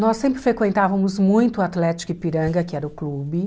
Nós sempre frequentávamos muito o Atlético Ipiranga, que era o clube,